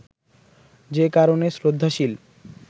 যে কারণে শ্রদ্ধাশীল